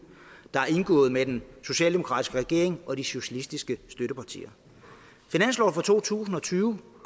der er indgået mellem den socialdemokratiske regering og de socialistiske støttepartier finansloven for to tusind og tyve